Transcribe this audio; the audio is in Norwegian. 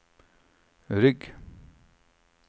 rygg